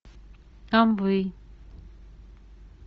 амвей